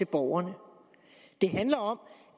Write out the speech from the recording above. borgerne det handler om